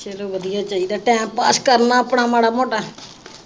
ਚਲੋ ਵਧੀਆ ਚਾਹੀਦਾ ਟਾਇਮ ਪਾਸ ਕਰਨਾ ਆਪਣਾ ਮਾੜਾ ਮੋਟਾ